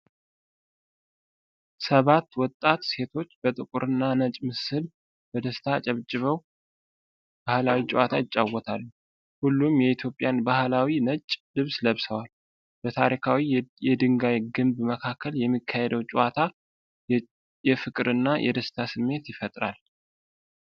ሰባት ወጣት ሴቶች በጥቁርና ነጭ ምስል በደስታ አጨብጭበው ባህላዊ ጨዋታ ይጫወታሉ። ሁሉም የኢትዮጵያን ባህላዊ ነጭ ልብስ ለብሰዋል። በታሪካዊ የድንጋይ ግንብ መካከል የሚካሄደው ጨዋታ፣ የፍቅርና የደስታ ስሜት ይፈጥራል።